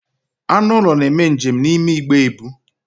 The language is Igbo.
Anụ ụlọ na-eme njem n'ime igbe ebu.